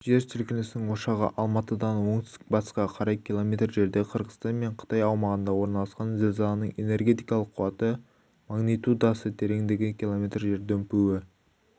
жер сілкінісінің ошағы алматыдан оңтүстік-батысқа қарай км жерде қырғызстан мен қытай аумағында орналасқан зілзаланың энергетикалық қуаты магнитудасы тереңдігі км жер дүмпуі